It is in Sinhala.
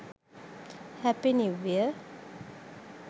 happy new year